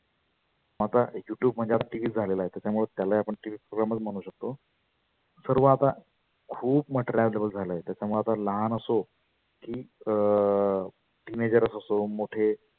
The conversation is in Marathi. आता YouTube म्हणजे TV च झालेला आहे. त्याच्या मुळ त्यालाही आपण TV program चं म्हणू शकतो. सर्व आता खुप material available झालं आहे. त्याच्यामुळे आता लहान असो की अं teenegers असो मोठे